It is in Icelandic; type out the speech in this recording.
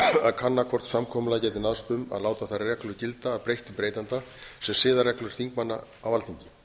að kanna hvort samkomulag gæti náðst um að láta þær reglur gilda að breyttu breytanda sem siðareglur þingmanna á alþingi